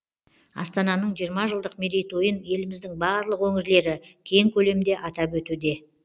астананың жиырма жылдық мерейтойын еліміздің барлық өңірлері кең көлемде атап өтуде